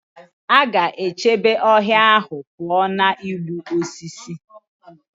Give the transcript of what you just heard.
A ga-echebe ọhịa ahụ pụọ na igbu osisi.